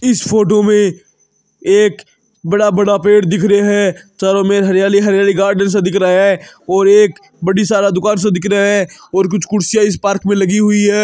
इस फ़ोटो में एक बड़ा बड़ा पेड़ दिख रहा है चारों मे हरियाली हरियाली गार्डन स दिख रहा है और एक बड़ी सारा दुकान स दिख रहा है और कुछ कुर्सियाँ इस पार्क मे लगी हुई है।